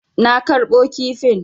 Na karɓo kifin.